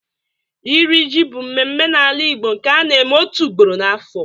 Iri ji bụ mmemme n'ala Igbo nke a na-eme otu ugboro n'afọ.